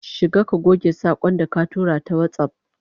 Shiga ka goge sakon da ka tura ta WhatsApp